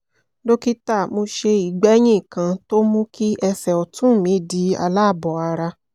dókítà mo ṣe ìgbẹ́yín kan tó mú kí ẹsẹ̀ ọ̀tún mi di aláàbọ̀ ara